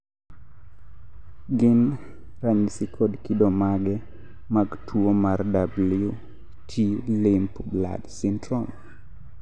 gin ranyisi kod kido mage mag tuwo mar WT limb blood syndrome?